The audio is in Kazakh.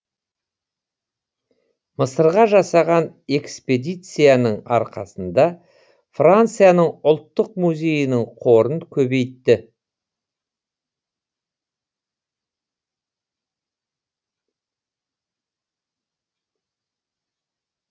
мысырға жасаған экспедицияның арқасында францияның ұлттық музейінің қорын көбейтті